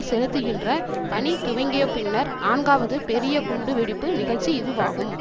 செலுத்துகின்ற பணி துவங்கிய பின்னர் நான்காவது பெரிய குண்டு வெடிப்பு நிகழ்ச்சி இதுவாகும்